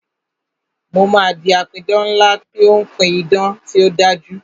Mo máa di apidán ńlá tí ó ń pí idán tí ó dájú